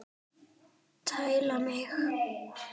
Tæla mig!